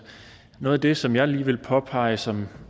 noget af det som jeg lige vil påpege som